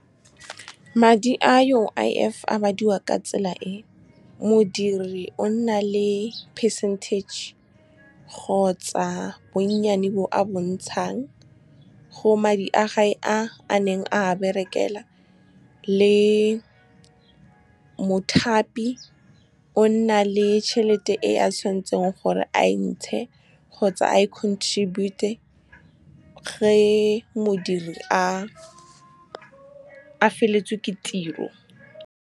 Madi a U_I_F a badiwa ka tsela e, modiri a nna le percentage kgotsa bonnyane bo a bontshang go madi a gagwe a neng a berekela, le mothapi o nna le tšhelete e a tshwanetseng gore a entshe kgotsa a e contribute-a ge modiri a feletswe ke tiro. Madi a U_I_F a badiwa ka tsela e, modiri a nna le percentage kgotsa bonnyane bo a bontshang go madi a gagwe a neng a berekela, le mothapi o nna le tšhelete e a tshwanetseng gore a entshe kgotsa a e contribute-a ge modiri a feletswe ke tiro.